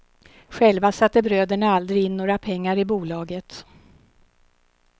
Själva satte bröderna aldrig in några pengar i bolaget.